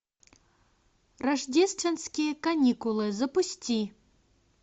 рождественские каникулы запусти